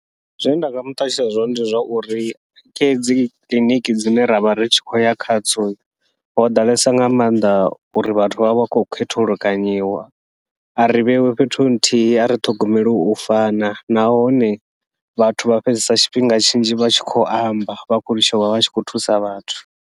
Zwine nda nga muṱalutshedza zwone ndi zwa uri kha hedzi kiḽiniki dzine ravha ri tshi khou ya khadzo, ho ḓalesa nga maanḓa uri vhathu vha vha vha khou khethulukanyiwa a ri vheiwe fhethu nthihi a ri ṱhogomeli u fana. Nahone vhathu vha fhedzesa tshifhinga tshinzhi vha tshi khou amba, vha khou litsha uvha vha tshi khou thusa vhathu.